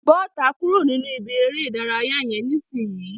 Bọ́ta kúrò nínú ìbí eré ìdárayá yẹn nisinyi.